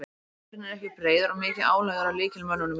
Hópurinn er ekki breiður og mikið álag er á lykilmönnunum í liðinu.